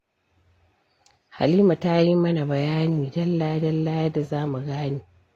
Halima ta yi mana bayani dalla-dalla yadda za mu gane